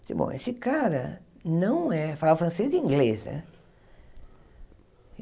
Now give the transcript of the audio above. Eu disse, bom, esse cara não é... Falava francês e inglês, né?